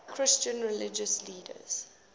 christian religious leaders